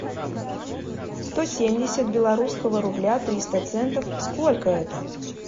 сто семьдесят белорусского рубля триста центов сколько это